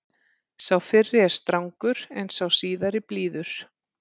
Sá fyrri er strangur en sá síðari blíður.